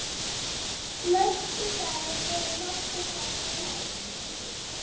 næstu ferð voru nokkur sæti laus.